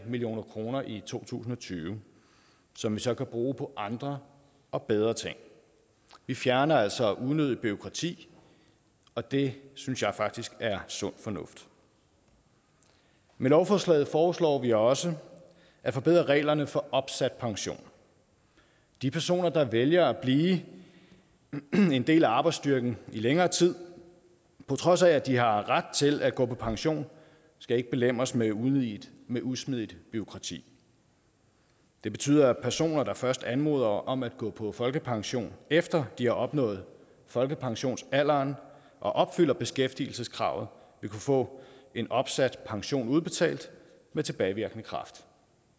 million kroner i to tusind og tyve som vi så kan bruge på andre og bedre ting vi fjerner altså unødigt bureaukrati og det synes jeg faktisk er sund fornuft med lovforslaget foreslår vi også at forbedre reglerne for opsat pension de personer der vælger at blive en del af arbejdsstyrken i længere tid på trods af at de har ret til at gå på pension skal ikke belemres med usmidigt med usmidigt bureaukrati det betyder at personer der først anmoder om at gå på folkepension efter de har opnået folkepensionsalderen og opfylder beskæftigelseskravet vil kunne få en opsat pension udbetalt med tilbagevirkende kraft